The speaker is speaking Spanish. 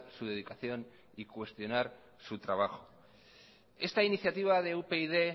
su dedicación y su trabajo esta iniciativa de upyd